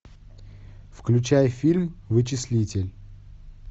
включай фильм вычислитель